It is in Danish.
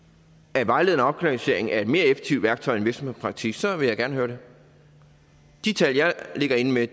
at vejledende opkvalificering er et mere effektivt værktøj end virksomhedspraktik så vil jeg gerne høre det de tal jeg ligger inde med